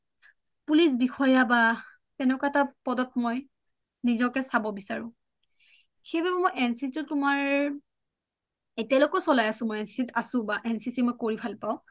Police বিষয়া বা তেনেকুৱা এটা পদত মই নিজকে চাব বিচাৰো সেইবাবে মই এনচিচি ত তোমাৰ এতিয়ালৈকে চলাই আছোঁ বা মই আছোঁ এনচিচি মই কৰি ভাল পাওঁ